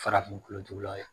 Farafin kolotugulaw ye